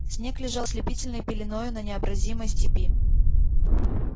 снег лежал ослепительной пеленою на необозримой степи